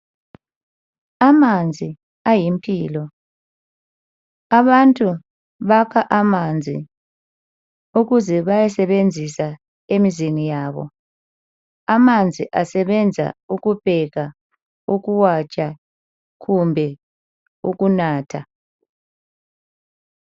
Amanzi ayimpilo, abantu bakha amanzi ukuze bayesebenzisa emizini yabo, amanzi asebenza ukupheka ,ukuwatsha kumbe ukunatha.